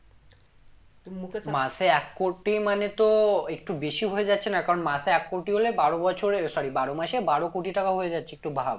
মাসে এক কোটি মানে তো একটু বেশি হয়ে যাচ্ছে না কারণ মাসে এক কোটি হলে বারো বছরে sorry বারো মাসে বারো কোটি টাকা হয়ে যাচ্ছে একটু ভাব